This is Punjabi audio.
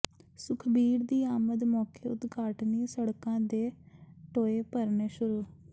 ਸੁਖਬੀਰ ਦੀ ਆਮਦ ਮੌਕੇ ਉਦਘਾਟਨੀ ਸੜਕਾਂ ਦੇ ਟੋਏ ਭਰਨੇ ਸ਼ੁਰੂ